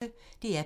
DR P1